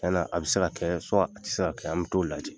Yala a bɛ se ka a tɛ se ka kɛ an bɛ t'o jajɛ..